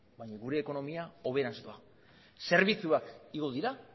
baina gure ekonomia hoberantz doa zerbitzuak igo dira